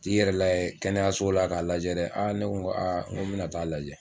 Ti yɛrɛ layɛ kɛnɛyaso la k'a lajɛ dɛ, a ne ko a nko bɛna t'a lajɛ.